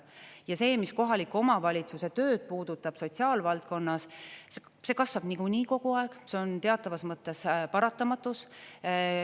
Ja see, mis kohaliku omavalitsuse tööd puudutab, sotsiaalvaldkonnas, see kasvab niikuinii kogu aeg, see on teatavas mõttes paratamatus.